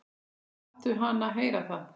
Láttu hana heyra það